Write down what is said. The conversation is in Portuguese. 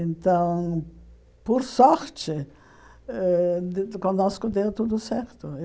Então, por sorte, ãh conosco deu tudo certo.